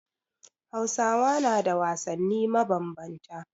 Hausawa na da wasanni mabambanta.